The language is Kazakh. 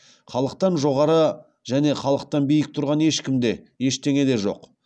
халықтан жоғары және халықтан биік тұрған ешкім де ештеңе де жоқ